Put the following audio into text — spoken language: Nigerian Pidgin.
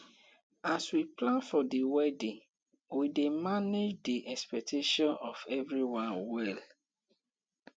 as we plan for the wedding we dey manage di expectations of everyone well